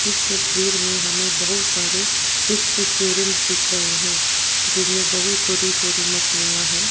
इस तस्वीर में हमें बहुत सारे फिश एक्वेरियम दिख रहे हैं जिनमें बहुत छोटी छोटी मछलियां हैं।